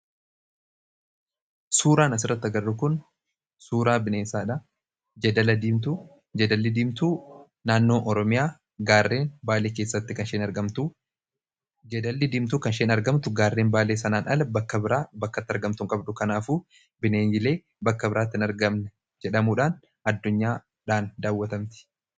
Suuraan asirratti arginu kun suuraa bineensaati. Jeedalli Diimtuu naannoo Oromiyaa gaarreen Baalee keessatti kan isheen argamu. Jeedalli Diimtuun gaarreen Baalee sanarraan ala bakka biraa bakka itti argamtu hin qabdu. Kanaafuu bineeyyiilee bakka biraatti hin argamne jedhamuudhaan daawwatamti.